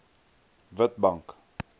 witbank